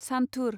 सान्थुर